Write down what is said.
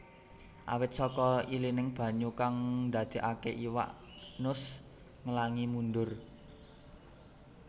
Awit saka ilining banyu kang ndadékaké iwak nus nglangi mundur